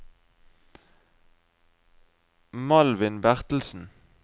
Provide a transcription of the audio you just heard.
Malvin Bertelsen